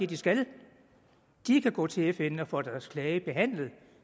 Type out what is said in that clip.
de skal kan de gå til fn og få deres klage behandlet